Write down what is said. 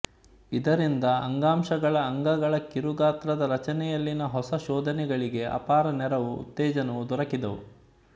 ಇದರಿಂದ ಅಂಗಾಂಶಗಳ ಅಂಗಗಳ ಕಿರುಗಾತ್ರದ ರಚನೆಯಲ್ಲಿನ ಹೊಸ ಶೋಧನೆಗಳಿಗೆ ಅಪಾರ ನೆರವೂ ಉತ್ತೇಜನವೂ ದೊರಕಿದುವು